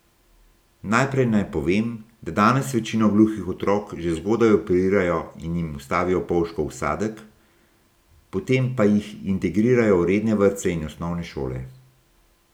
Najprej naj povem, da danes večino gluhih otrok že zgodaj operirajo in jim vstavijo polžkov vsadek, potem pa jih integrirajo v redne vrtce in osnovne šole.